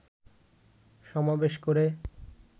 সমাবেশ করে